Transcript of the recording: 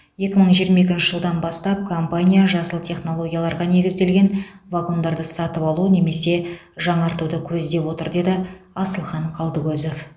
екі мың жиырма екінші жылдан бастап компания жасыл технологияларға негізделген вагондарды сатып алу немесе жаңартуды көздеп отыр деді асылхан қалдыкозов